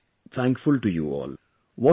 India is thankful to you all